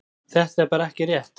Þetta er bara ekki rétt.